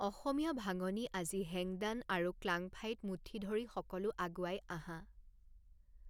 অসমীয়া ভাঙনি আজি হেংদান আৰু ক্লাংফাইত মুঠি ধৰি সকলো আগুৱাই আহা।